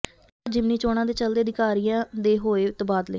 ਲੋਕਸਭਾ ਜਿਮਨੀ ਚੋਣਾਂ ਦੇ ਚੱਲਦੇ ਅਧਿਕਾਰੀਆਂ ਦੇ ਹੋਏ ਤਬਾਦਲੇ